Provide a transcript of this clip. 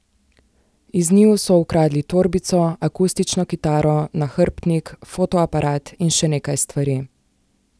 Iz njiju so ukradli torbico, akustično kitaro, nahrbtnik, fotoaparat in še nekaj stvari.